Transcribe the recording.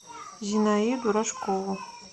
зинаиду рожкову